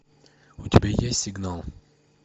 у тебя есть сигнал